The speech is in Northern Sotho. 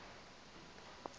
e be e dira gore